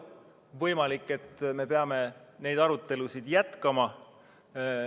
Võimalik, et me peame arutelusid jätkama.